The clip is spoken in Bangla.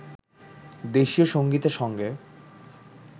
দেশীয় সংগীতে সঙ্গে